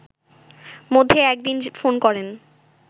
মধ্যে এক দিন ফোন করেন